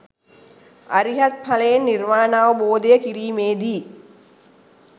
අරිහත් ඵලයෙන් නිර්වාණාවබෝධය කිරීමේදී